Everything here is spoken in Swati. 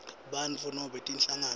bantfu nobe tinhlangano